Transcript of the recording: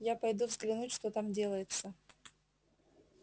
я пойду взглянуть что там делается